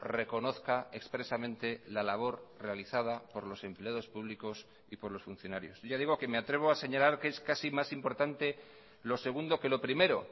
reconozca expresamente la labor realizada por los empleados públicos y por los funcionarios ya digo que me atrevo a señalar que es casi más importante lo segundo que lo primero